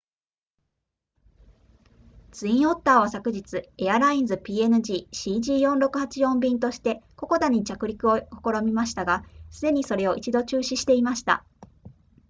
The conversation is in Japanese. ツインオッターは昨日エアラインズ png cg4684 便としてココダに着陸を試みましたがすでにそれを一度中止していました